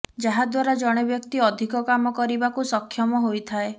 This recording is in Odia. ଯାହାଦ୍ୱାରା ଜଣେ ବ୍ୟକ୍ତି ଅଧିକ କାମ କରିବାକୁ ସକ୍ଷମ ହୋଇଥାଏ